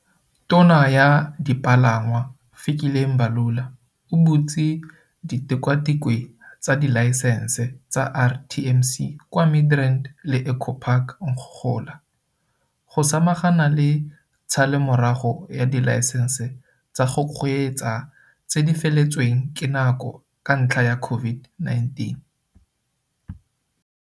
Tona ya Dipalangwa, Fikile Mbalula, o butse ditikwatikwe tsa dilaesense tsa RTMC kwa Midrand le Eco Park ngogola, go samagana le tshalelomorago ya dilaesense tsa go kgweetsa tse di feletsweng ke nako ka ntlha ya COVID-19.